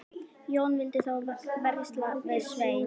Jón vildi þá versla við Svein.